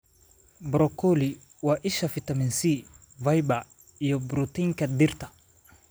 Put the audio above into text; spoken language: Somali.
Broccoli: waa isha fiitamiin C, fiber, iyo borotiinka dhirta.